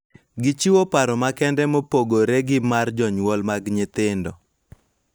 Gichiwo paro makende mopogore gi mar jonyuol mag nyathino.